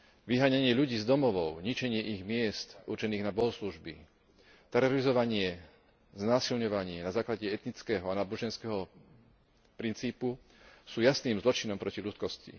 Vyháňanie ľudí z domovov, ničenie ich miest určených na bohoslužby, terorizovanie, znásilňovanie na základe etnického a náboženského princípu sú jasným zločinom proti ľudskosti.